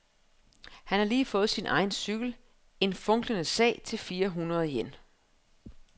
Han har lige fået sin egen cykel, en funklende sag til fire hundrede yen.